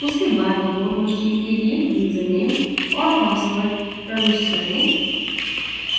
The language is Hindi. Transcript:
उसके बाद remote machine के लिए username & password enter करें